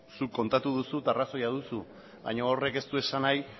zuk kontatu duzu eta arrazoia duzu baina horrek ez du esan nahi